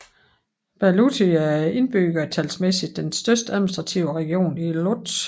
Bałuty er indbyggertalsmæssigt den største administrative region i Łódź